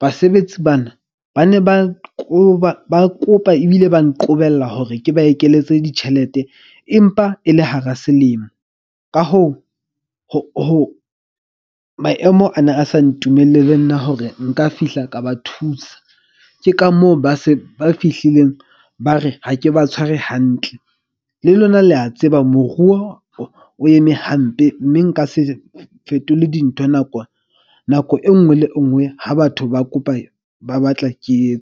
basebetsi bana ba ne ba qoba ba kopa ebile ba nqobella hore ke ba ekeletse ditjhelete. Empa e le hara selemo. Ka hoo, maemo ana a sa ntumelele le nna hore nka fihla ka ba thusa. Ke ka moo ba se ba fihlileng, ba re ha ke ba tshware hantle. Le lona le a tseba moruo o eme hampe mme nka se fetole dintho nako e nngwe le e nngwe. Ha batho ba kopa ba batla ke .